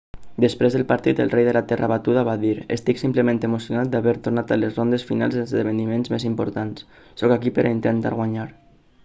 després del partit el rei de la terra batuda va dir estic simplement emocionat d'haver tornat a les rondes finals dels esdevniments més importants sóc aquí per a intentar guanyar